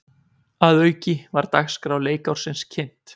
Að auki var dagskrá leikársins kynnt